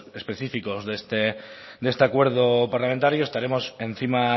específicos de este acuerdo parlamentario estaremos encima